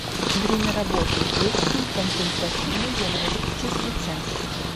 время работы детский консультативно диагностический центр